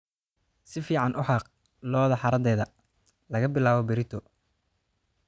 Si fiican u xaaq lo'da xaradeda laga bilaabo berrito.